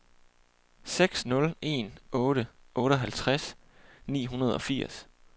seks nul en otte otteoghalvtreds ni hundrede og firs